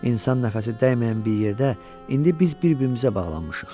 İnsan nəfəsi dəyməyən bir yerdə, indi biz bir-birimizə bağlanmışıq.